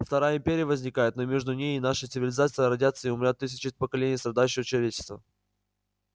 вторая империя возникнет но между ней и нашей цивилизацией родятся и умрут тысячи поколений страдающего человечества